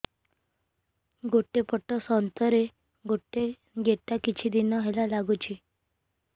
ଗୋଟେ ପଟ ସ୍ତନ ରେ ଗୋଟେ ଗେଟା କିଛି ଦିନ ହେଲା ଲାଗୁଛି